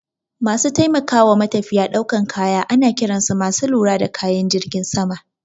Masu taimakawa matafiya daukan kaya ana kiran su masu lura da kayan jirgin sama.